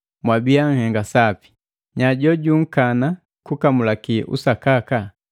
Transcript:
Mwabiya nhenga sapi! Nya jojunkaana kukamulaki usakaka?